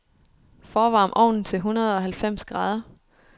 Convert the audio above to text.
Forvarm ovnen til hundredeoghalvfems grader.